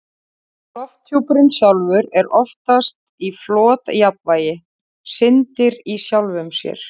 Lofthjúpurinn sjálfur er oftast í flotjafnvægi, syndir í sjálfum sér.